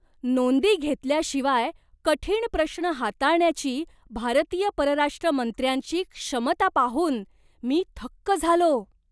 नोंदी घेतल्याशिवाय कठीण प्रश्न हाताळण्याची भारतीय परराष्ट्र मंत्र्यांची क्षमता पाहून मी थक्क झालो!